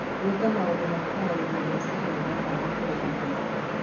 Gwĩka maũndũ ma kũhoreria meciria nĩ kwa bata kũrĩ akũrũ.